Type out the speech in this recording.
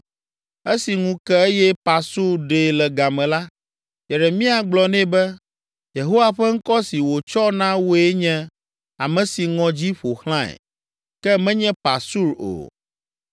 Esi ŋu ke eye Parsur ɖee le game la, Yeremia gblɔ nɛ be, “Yehowa ƒe ŋkɔ si wòtsɔ na wòe nye, ame si ŋɔdzi ƒo xlãe, ke menye Pasur o;